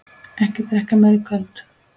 Ekki drekka meira í kvöld.